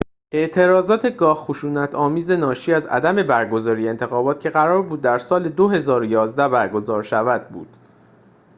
اعتراضات گاه خشونت آمیز ناشی از عدم برگزاری انتخابات که قرار بود در سال ۲۰۱۱ برگزار شود بود